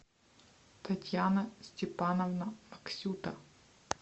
татьяна степановна аксюта